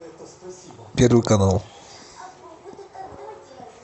первый канал